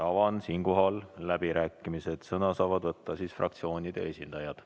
Avan läbirääkimised, sõna saavad võtta fraktsioonide esindajad.